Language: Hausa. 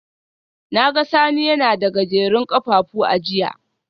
Na ga Sani yana da Gajerun kafafu a jiya